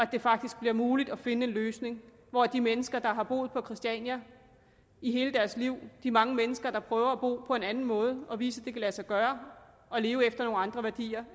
det faktisk bliver muligt at finde en løsning hvor de mennesker der har boet på christiania i hele deres liv de mange mennesker der prøver at bo på en anden måde og vise at det kan lade sig gøre at leve efter nogle andre værdier